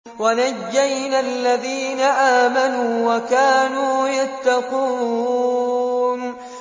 وَنَجَّيْنَا الَّذِينَ آمَنُوا وَكَانُوا يَتَّقُونَ